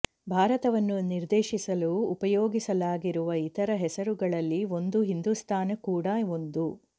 ಭಾರತವನ್ನು ನಿರ್ದೇಶಿಸಲು ಉಪಯೋಗಿಸಲಾಗಿರುವ ಇತರ ಹೆಸರುಗಳಲ್ಲಿ ಒಂದು ಹಿಂದುಸ್ತಾನ ಕೂಡ ಒಂದು